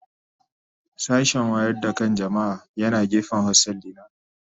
Sashen wayar da kan jama'a yana gefen hostel dina.